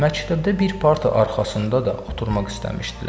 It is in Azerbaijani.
Məktəbdə bir parta arxasında da oturmaq istəmişdilər.